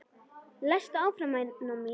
Lestu áfram væna mín!